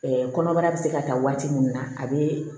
kɔnɔbara bi se ka taa waati min na a be